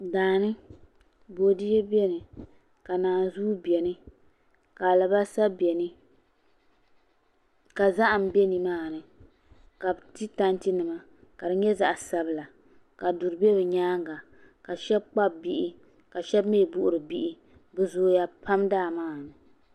Daani boidiyɛ biɛni ka naanzuu biɛni ka alibarisa biɛni ka zaham bɛ nimaani ka bi ti tanti nima ka di nyɛ zaɣ sabila ka duri bɛ bi nyaanga ka shab kpabi bihi ka shab mii buɣuri bihi bi zooya pam daa maa ni